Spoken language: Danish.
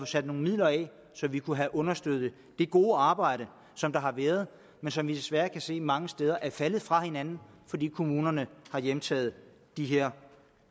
sat nogle midler af så vi kunne have understøttet det gode arbejde som der har været men som vi desværre kan se mange steder er faldet fra hinanden fordi kommunerne har hjemtaget de her